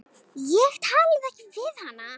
Ég talaði ekki við hana.